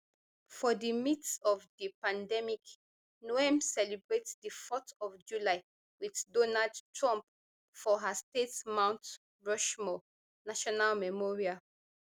for di midst of di pandemic noem celebrate di fourth of july wit donald trump for her state mount rushmore national memorial